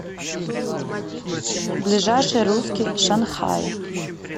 ближайший русский шанхай